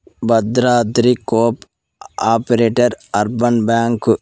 Bhadradri cooperative urban bank .